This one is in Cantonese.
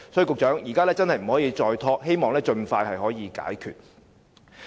局長，現在真的不可再拖延，希望可以盡快解決問題。